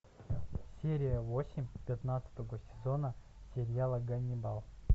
серия восемь пятнадцатого сезона сериала ганнибал